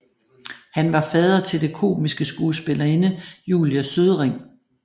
Han var fader til den komiske skuespillerinde Julie Sødring